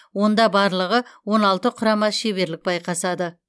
онда барлығы он алты құрама шеберлік байқасады